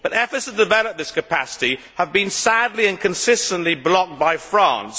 But efforts to develop this capacity have been sadly and consistently blocked by France.